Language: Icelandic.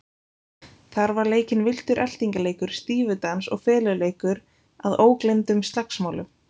Þar var leikinn villtur eltingaleikur, stífudans og feluleikur að ógleymdum slagsmálum.